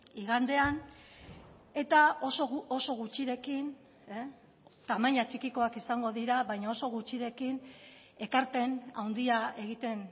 igandean eta oso gutxirekin tamaina txikikoak izango dira baina oso gutxirekin ekarpen handia egiten